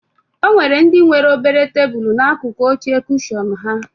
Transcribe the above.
O nwere ndị nwere obere tebulu n'akụkụ oche kushọn ha